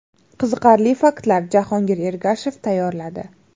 Qiziqarli faktlar: Jahongir Ergashev tayyorladi.